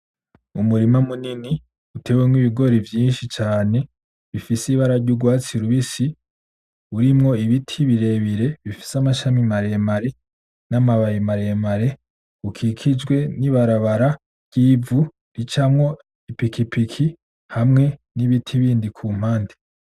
Umurima munini uterwemo ibigori vyinshi cane bifise ibara ry'urwatsi rubisi, rurimo ibiti birebire bifise amashami maremare na ma babi mare mare, ukikijwe ni barabara ry'ivu ricamo piki piki hamwe ni biti bindi kumpande.